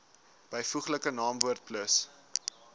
byvoeglike naamwoord plus